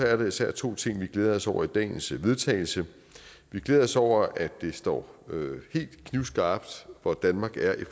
er der især to ting vi glæder os over i dagens forslag til vedtagelse vi glæder os over at det står helt knivskarpt hvor danmark er i